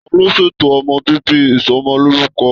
Taló ṣètò ọmọ bíbí Ìsọmọlorúkọ?